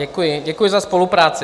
Děkuji za spolupráci.